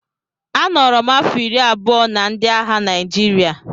A nọrọ m afọ iri abụọ na ndị agha Naịjirịa